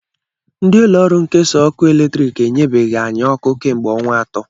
Ndị ụlọọrụ nkesa ọkụ latrik enyebeghi anyị ọkụ kemgbe ọnwa atọ